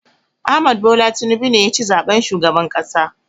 Ahmad Bola Tinubu ne ya ci zaɓen shugaban ƙasa.